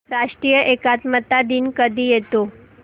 राष्ट्रीय एकात्मता दिन कधी येतो